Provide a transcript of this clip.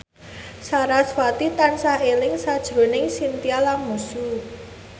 sarasvati tansah eling sakjroning Chintya Lamusu